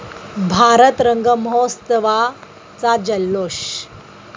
भारत रंग महोत्सवा'चा जल्लोष